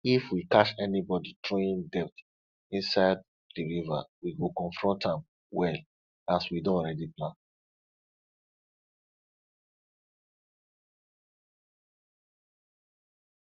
if we catch anybody throwing dirt inside the river we go confront am well as we don already plan